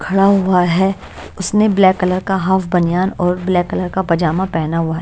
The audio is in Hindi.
खड़ा हुआ है उसने ब्लैक कलर का हाफ बनियान और ब्लैक कलर का पजामा पहना हुआ है।